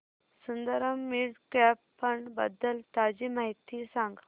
Sundaram mid cap fund बद्दल ताजी माहिती सांग